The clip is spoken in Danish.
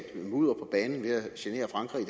genere frankrig